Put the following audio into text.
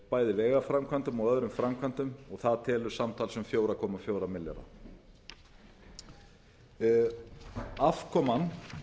bæði vegaframkvæmdum og öðrum framkvæmdum og það telur samtals um fjóra komma fjóra milljarða afkoman